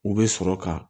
U bɛ sɔrɔ ka